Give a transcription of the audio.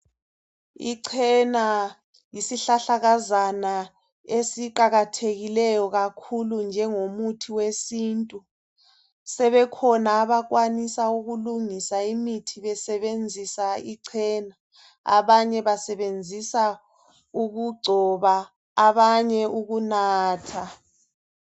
Ichena yisihlahlakazana esiqakathekileyo kakhulu, njengomuthi wesintu. Sebekhona abakwanisa ukulungisa imithi besebenzisa ichena. Abanye basebenzisa ukugcoba. Abanye ukunatha.